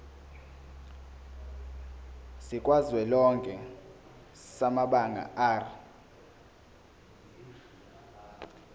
sikazwelonke samabanga r